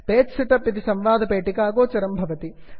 page setup page set up इति संवादपेटिका गोचरं भवति